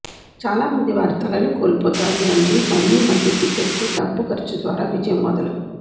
చాలా మంది వారి తలలు కోల్పోతారు మరియు మళ్లీ మళ్లీ టిక్కెట్లు డబ్బు ఖర్చు ద్వారా విజయం మొదలు